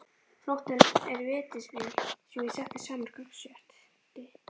Flóttinn er vítisvél sem ég setti saman og gangsetti.